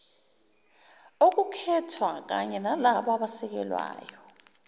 okukhethwa kanyenalabo abasekelayo